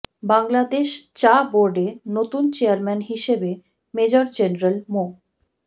বাংলাদেশ চা বোর্ডে নতুন চেয়ারম্যান হিসেবে মেজর জেনারেল মো